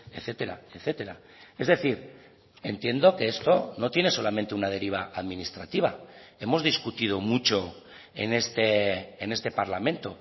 etcétera etcétera es decir entiendo que esto no tiene solamente una deriva administrativa hemos discutido mucho en este parlamento